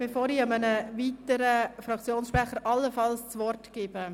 Bevor ich allenfalls einem weiteren Fraktionssprecher das Wort gebe: